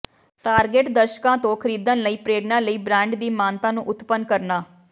target ਦਰਸ਼ਕਾਂ ਤੋਂ ਖਰੀਦਣ ਲਈ ਪ੍ਰੇਰਣਾ ਲਈ ਬ੍ਰਾਂਡ ਦੀ ਮਾਨਤਾ ਨੂੰ ਉਤਪੰਨ ਕਰਨਾ